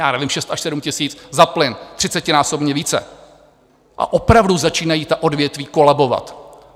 Já nevím, 6 až 7 tisíc za plyn, třicetinásobně více, a opravdu začínají ta odvětví kolabovat.